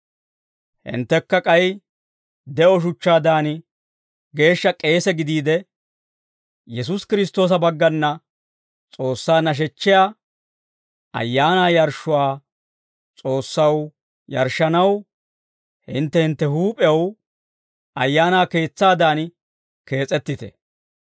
Hinttekka k'ay de'o shuchchaadan, geeshsha k'eesaa gidiide, Yesuusi Kiristtoosa baggana S'oossaa nashechchiyaa ayaanaa yarshshuwaa S'oossaw yarshshanaw, hintte hintte huup'ew ayaana keetsaadan kees'ettite.